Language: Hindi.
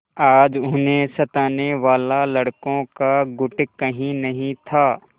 आज उन्हें सताने वाला लड़कों का गुट कहीं नहीं था